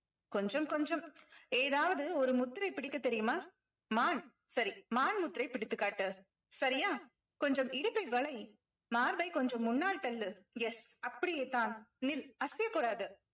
கொஞ்சம் கொஞ்சம் ஏதாவது ஒரு முத்திரை பிடிக்கத் தெரியுமா மான் சரி மான் முத்திரை பிடித்துக் காட்டு சரியா கொஞ்சம் இடுப்பை வலை மார்பை கொஞ்சம் முன்னால் தள்ளு yes அப்படியேதான் நில் அசையக் கூடாது